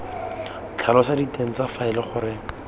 tlhalosa diteng tsa faele gore